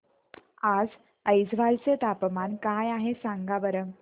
आज ऐझवाल चे तापमान काय आहे सांगा बरं